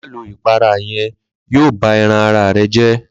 Ma lo ìpara yen yíò bá ẹran ara re jé